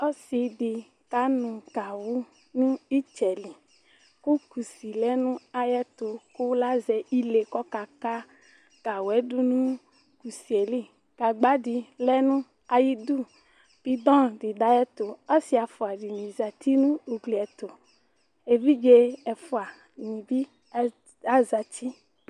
ɔsi di kanu gawu nu itsɛli ku kusi lɛ nu ayɛtu ku lazɛ ile kɔkaka gawu du nu kusiyeli gagba dilɛ nayidu bidɔ didu ayɛtu ɔsi ɛfua dini adu igliyɛtu eviɖze efua dibi azati